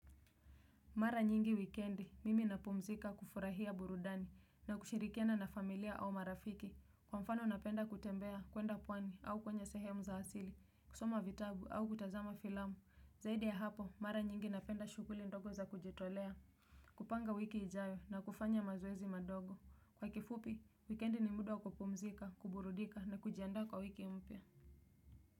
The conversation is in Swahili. Mara nyingi wikendi, mimi napumzika kufurahia burudani na kushirikiana na familia au marafiki, kwa mfano napenda kutembea kwenda pwani au kwenye sehemu za asili, kusoma vitabu au kutazama filamu, zaidi ya hapo, mara nyingi napenda shughuli ndogo za kujitolea, kupanga wiki ijayo na kufanya mazoezi madogo. Kwa kifupi, wikendi ni muda kupumzika, kuburudika na kujiandaa kwa wiki mpya.